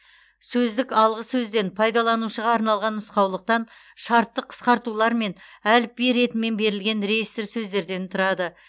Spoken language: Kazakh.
сөздік алғы сөзден пайдаланушыға арналған нұсқаулықтан шартты қысқартулар мен әліпби ретімен берілген реестр сөздерден тұрады